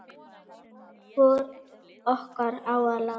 Hvor okkar á að láta